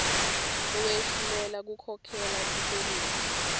lowehluleka kukhokhela tikweleti